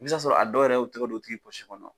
I bɛ t'a sɔrɔ a dɔw yɛrɛ y'o tigɛ don o tigi pɔsi kɔnɔ.